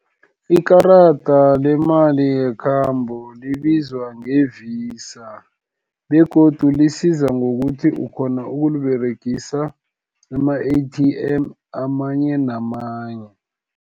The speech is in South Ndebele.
Ikarada lemali yekhambo libizwa nge-Visa, begodu lisiza ngokuthi ukghona ukuliberegisa, kuma-A_T_M, amanye namanye.